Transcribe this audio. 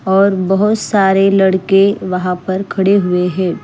और बहुत सारे लड़के वहां पर खड़े हुए हैं।